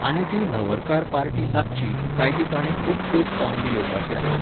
आनी ती न्हवरकार पार्टी लागची, काय ती ताणें खूब पयस सावन बी येवपाची आसा